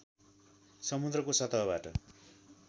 समुद्रको सतहबाट